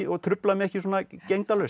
og trufla mig ekki svona